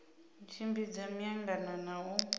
u tshimbidza miangano na u